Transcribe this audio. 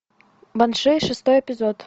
банши шестой эпизод